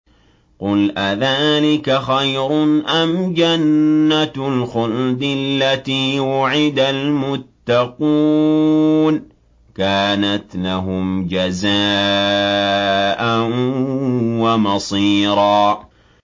قُلْ أَذَٰلِكَ خَيْرٌ أَمْ جَنَّةُ الْخُلْدِ الَّتِي وُعِدَ الْمُتَّقُونَ ۚ كَانَتْ لَهُمْ جَزَاءً وَمَصِيرًا